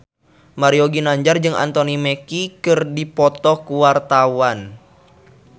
Mario Ginanjar jeung Anthony Mackie keur dipoto ku wartawan